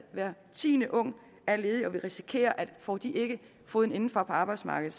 hver tiende ung er ledig og vi risikerer at får de ikke foden indenfor på arbejdsmarkedet